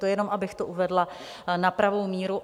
To jenom abych to uvedla na pravou míru.